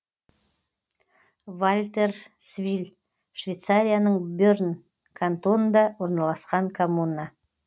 вальтерсвиль швейцарияның берн кантонында орналасқан коммуна